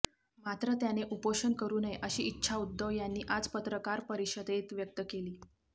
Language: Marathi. मात्र त्याने उपोषण करु नये अशी इच्छा उद्धव यांनी आज पत्रकार परिषदेत व्यक्त केली